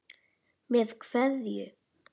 Með kveðju.